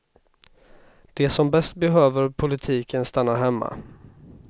De som bäst behöver politiken stannar hemma.